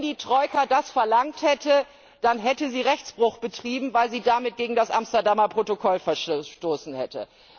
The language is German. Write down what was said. Wenn die Troika das verlangt hätte, dann hätte sie Rechtsbruch betrieben, weil sie damit gegen das Amsterdamer Protokoll verstoßen hätte.